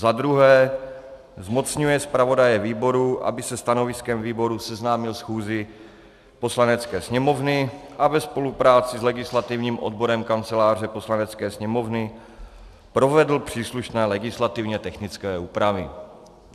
Za druhé zmocňuje zpravodaje výboru, aby se stanoviskem výboru seznámil schůzi Poslanecké sněmovny a ve spolupráci s legislativním odborem Kanceláře Poslanecké sněmovny provedl příslušné legislativně technické úpravy.